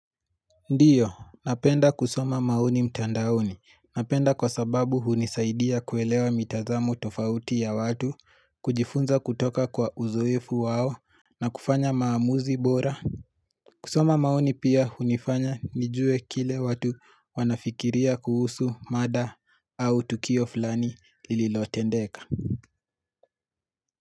Ndiyo, napenda kusoma maoni mtandaoni. Napenda kwa sababu hunisaidia kuelewa mitazamo tofauti ya watu, kujifunza kutoka kwa uzoefu wao, na kufanya maamuzi bora. Kusoma maoni pia hunifanya nijue kile watu wanafikiria kuhusu mada au tukio fulani lililotendeka.